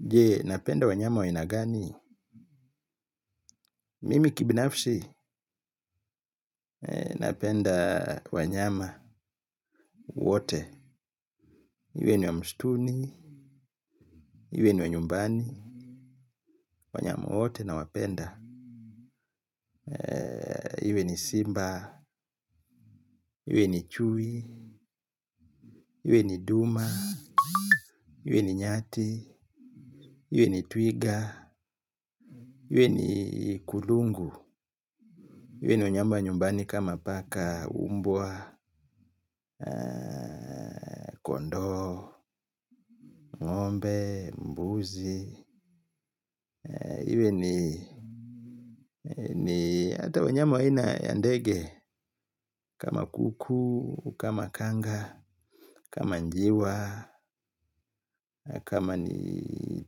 Je, napenda wanyama wa aina gani? Mimi kibinafsi napenda wanyama wote. Iwe ni wa msituni, iwe ni wa nyumbani, wanyama wote nawapenda. Iwe ni simba, iwe ni chui, iwe ni duma, iwe ni nyati, iwe ni twiga, iwe ni kulungu. Iwe ni wanyama wa nyumbani kama paka mbwa, kondoo, ngombe, mbuzi. Iwe ni hata wanyama wa aina ya ndege kama kuku, kama kanga, kama njiwa, kama ni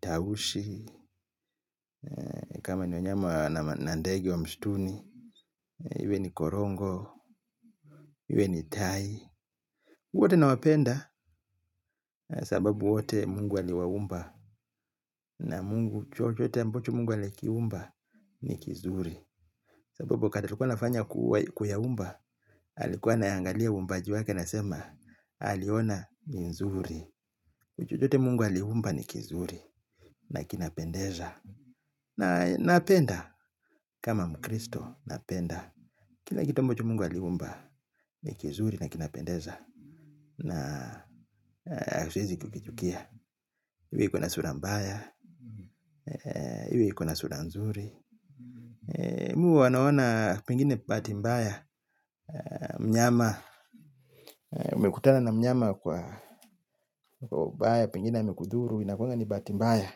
tausi, kama ni wanyama na ndege wa msituni. Iwe ni korongo, iwe ni tai. Wote nawapenda sababu wote mungu aliwaumba na mungu chochote ambacho mungu alikiumba ni kizuri. Sababu wakati alikuwa anafanya kuyaumba, alikuwa anaangalia uumbaji wake anasema aliona ni nzuri. Chochote mungu aliumba ni kizuri na kinapendeza. Na napenda kama mkristo napenda. Kila kitu ambacho mungu aliumba ni kizuri na kinapendeza. Na siwezi kukichukia iwe iko na sura mbaya. Iwe iko na sura nzuri mimi huwa naona pengine bahati mbaya. Mnyama umekutana na mnyama kwa ubaya, pengine amekudhuru inakuanga ni bahati mbaya.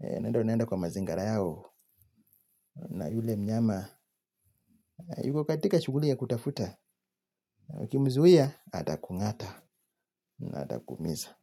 Unaenda unaenda kwa mazingira yao na yule mnyama yuko katika shughuli ya kutafuta. Ukimzuia atakungata na atakuumiza.